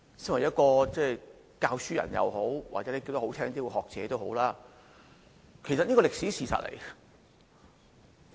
作為一位教師，或——說得動聽一點——是學者也好，我認為這是歷史事實。